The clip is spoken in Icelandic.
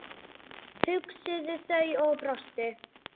hugsuðu þau og brostu.